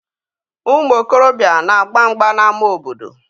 Ụmụ okorobịa na-agba mgba n'ama obodo.